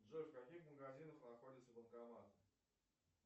джой в каких магазинах находится банкомат